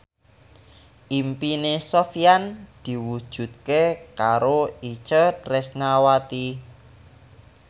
impine Sofyan diwujudke karo Itje Tresnawati